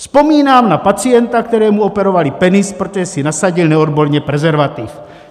Vzpomínám na pacienta, kterému operovali penis, protože si nasadil neodborně prezervativ.